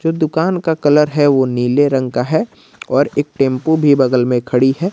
दुकान का कलर है वो नीले रंग का है और एक टेंपो भी बगल में खड़ी है।